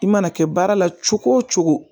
I mana kɛ baara la cogo o cogo